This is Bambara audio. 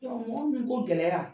mɔgɔ minnu ko gɛlɛya